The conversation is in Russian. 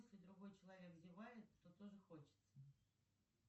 если другой человек зевает то тоже хочется